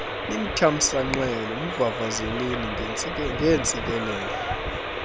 nimthamsanqele mvavazeleni ngeentsikelelo